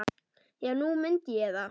Já, nú mundi ég það.